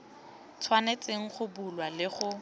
tshwanetseng go bulwa le go